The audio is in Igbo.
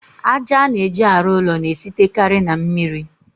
Aja a na-eji arụ ụlọ na-esitekarị na mmiri.